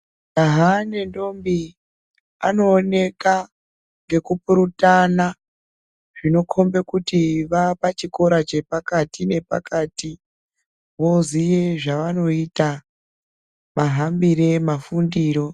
Majaha nendombi anooneka ngekupurutana .Zvinokombe kuti vava pachikora chepakati nepakati, voziye zvaanoita mahambire ,mafundiro .